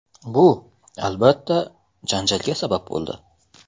Bu, albatta, janjalga sabab bo‘ldi.